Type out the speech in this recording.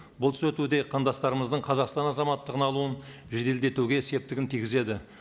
бұл түзету де қандастарымыздың қазақстан азаматтығын алуын жеделдетуге септігін тигізеді